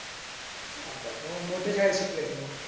ऑबाबाबा मोठ्या शाळेत शिकलायेस मग.